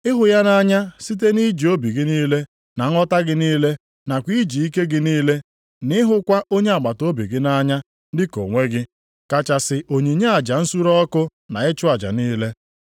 Ịhụ ya nʼanya site nʼiji obi gị niile, na nghọta gị niile, nakwa iji ike gị niile, nʼịhụkwa onye agbataobi gị nʼanya dị ka onwe gị, kachasị onyinye aja nsure ọkụ na ịchụ aja niile.”